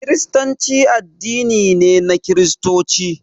Kiristanci addini ne na Kiristoci